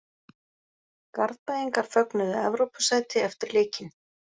Garðbæingar fögnuðu Evrópusæti eftir leikinn.